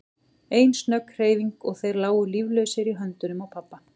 Ein snögg hreyfing og þeir lágu líflausir í höndunum á pabba.